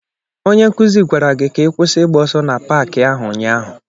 Onye nkuzi gwara gị ka ị kwụsị ịgba ọsọ na paaki ahụ ụnyaahụ.